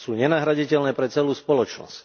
Sú nenahraditeľné pre celú spoločnosť.